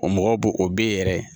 O mɔgɔ bo o b'e yɛrɛ ye